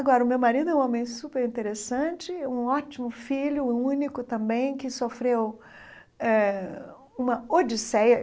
Agora, o meu marido é um homem superinteressante, um ótimo filho, único também, que sofreu eh uma odisseia.